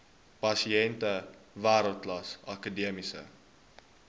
pasiënte wêreldklas akademiese